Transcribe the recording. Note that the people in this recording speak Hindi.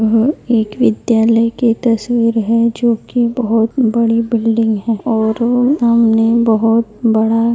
यह एक विद्यालय की तस्वीर है जो की बहुत बड़ी बिल्डिंग है और वो सामने बहुत बड़ा--